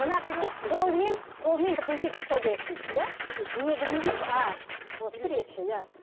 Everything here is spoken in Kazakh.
мына кісі қолымен қолымен бірдеңке жасау керек дейді иә негізінде а суретші иә